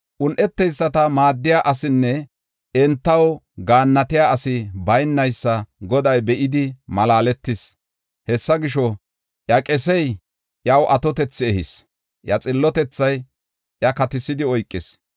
Un7eteyisata maaddiya asinne entaw gaannatiya asi baynaysa Goday be7idi malaaletis. Hessa gisho, iya qesey iyaw atotethi ehis; iya xillotethay iya katisidi oykis.